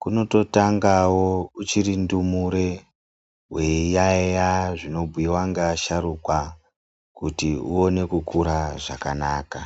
Kunototangawo uchiri ndumure weiyaiya zvinobuyiwa ngeasharukwa kuti uone kukura zvakanaka.